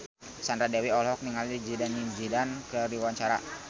Sandra Dewi olohok ningali Zidane Zidane keur diwawancara